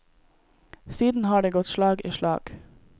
Siden har det gått slag i slag.